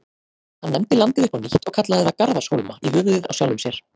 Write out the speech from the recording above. Hann nefndi landið upp á nýtt og kallaði það Garðarshólma, í höfuðið á sjálfum sér.